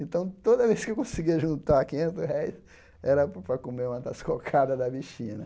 Então, toda vez que eu conseguia juntar quinhentos réis, era para para comer uma das cocadas da bichinha né.